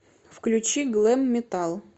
включи глэм метал